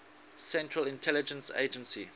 central intelligence agency